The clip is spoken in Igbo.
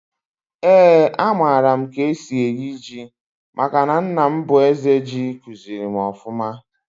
Eeǃ A mara m k'esi eyi ji, maka nna m bu Eze Ji, kuziri m ọfụma.